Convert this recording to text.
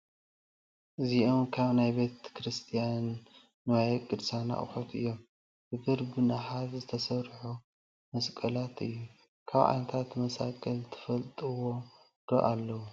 እዚኦም ካብ ናይ ቤተ ክርስትያን ንዋየ ቅድሳት ኣቑሑ እዮም፡፡ ብብርን ብናሓስን ዝተሰርሑ መስቀላት እዮ፡፡ ካብ ዓይነታት መሳቕል ትፈልጥዎም ዶ ኣለው?